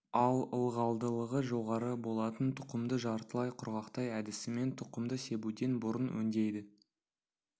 ал ылғалдылығы жоғары болатын тұқымды жартылай құрғақтай әдісімен тұқымды себуден бұрын өңдейді